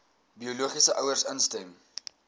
biologiese ouers instem